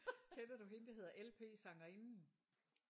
Kender du hende der hedder LP sangerinden?